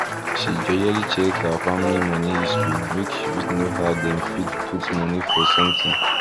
she jejely check her family money history make she fit know how dem fit put money for sometin